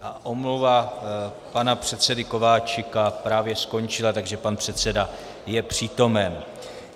A omluva pana předsedy Kováčika právě skončila, takže pan předseda je přítomen.